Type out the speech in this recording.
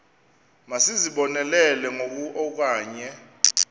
masizibonelele ngoku okanye